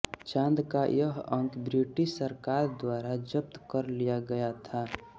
चाँद का यह अंक ब्रिटिश सरकार द्वारा जब्त कर लिया गया था